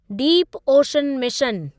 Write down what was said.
deep ocean mission